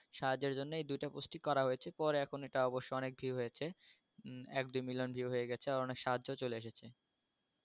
সাহায্যের জন্য এই দুইটা পোস্টই করা হয়েছে পরে এখন এটা অবশ্য অনেক view হয়েছে এক দুই million view হয়ে গেছে আর অনেক সাহায্যও চলে এসেছে